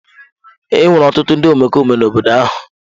Enwere ọtụtụ ndị omekome n'obodo ahụ.